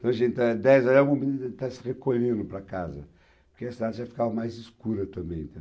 Então, a gente dez já mobiliza, já estava se recolhendo para casa, porque a cidade já ficava mais escura também,